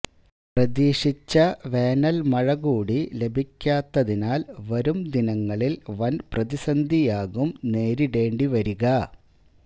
പ്രതീക്ഷിച്ച വേനൽ മഴ കൂടി ലഭിക്കാത്തതിനാൽ വരും ദിനങ്ങളിൽ വൻ പ്രതിസന്ധിയാകും നേരിടേണ്ടിവരിക